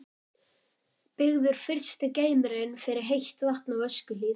Byggður fyrsti geymirinn fyrir heitt vatn á Öskjuhlíð.